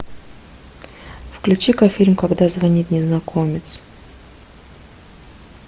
включи ка фильм когда звонит незнакомец